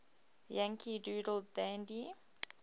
yankee doodle dandy